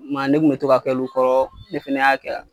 Ma ne kun bɛ to ka k'olu kɔrɔ ne fɛnɛ y'a kɛ a.